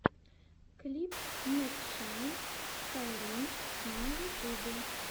клип мэкшан скайрим на ютюбе